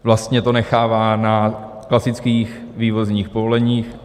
Vlastně to nechává na klasických vývozních povoleních.